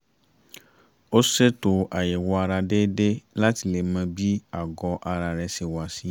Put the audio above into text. ó ṣètò àyẹ̀wò ara déédéé láti lè mọ bí àgọ́ ara rẹ̀ ṣe wà sí